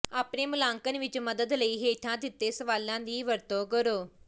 ਆਪਣੇ ਮੁਲਾਂਕਣ ਵਿਚ ਮਦਦ ਲਈ ਹੇਠਾਂ ਦਿੱਤੇ ਸਵਾਲਾਂ ਦੀ ਵਰਤੋਂ ਕਰੋ